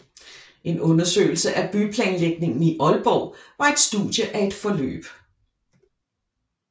En undersøgelse af byplanlægningen i Aalborg var et studie af et forløb